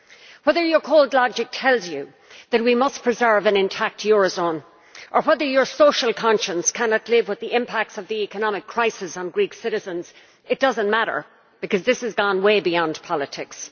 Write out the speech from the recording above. Whether your cold logic tells you that we must preserve an intact eurozone, or whether your social conscience cannot live with the impact of the economic crisis on Greek citizens, does not matter, because this has gone way beyond politics.